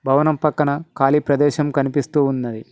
భవనం పక్కన ఖాళీ ప్రదేశం కనిపిస్తూ ఉన్నది.